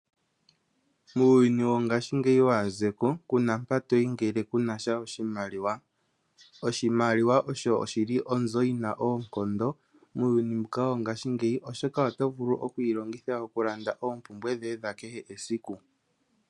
Muuyuni wongashingeyi waazeko ku na mpa to yi ngele ku na sha oshimaliwa. Oshimaliwa osho shi li onzo yi na oonkondo muuyuni mbuka wongashingeyi, oshoka oto vulu oku yi longitha okulanda oompumbwe dhoye dha kehe esiku.